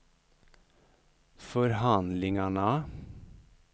förhandlingarna